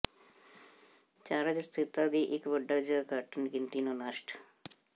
charge ਸਥਿਰਤਾ ਦੀ ਇੱਕ ਵੱਡਾ ਜ ਘੱਟ ਗਿਣਤੀ ਨੂੰ ਨਸ਼ਟ